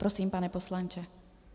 Prosím, pane poslanče.